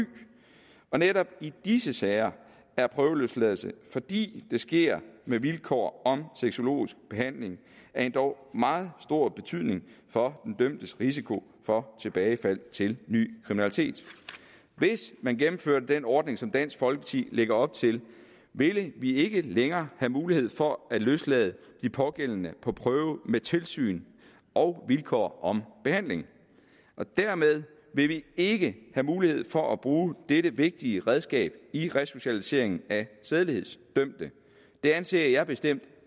og netop i disse sager er prøveløsladelse fordi det sker med vilkår om sexologisk behandling af endog meget stor betydning for den dømtes risiko for tilbagefald til ny kriminalitet hvis man gennemførte den ordning som dansk folkeparti lægger op til ville vi ikke længere have mulighed for at løslade de pågældende på prøve med tilsyn og vilkår om behandling og dermed ville vi ikke have mulighed for at bruge dette vigtige redskab i resocialiseringen af sædelighedsdømte det anser jeg bestemt